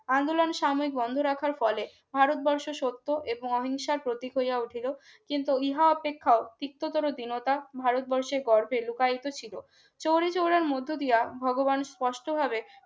আন্দোলন সমেত বন্ধ রাখার ফলে ভারতবর্ষ সত্য এবং অহিংসা প্রতীক হইয়া উঠিল কিন্তু ইহা অপেক্ষা ভারতবর্ষের গর্ভে লুকায়িত ছিল চৌরিচৌড়ার মধ্য দিয়া ভগবান স্পষ্টভাবে